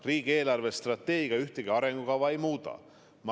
Riigi eelarvestrateegia ühtegi arengukava ei muuda.